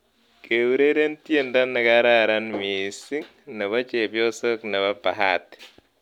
Keureren tiendo nekararan mising' nebo chepyosok nebo Bahati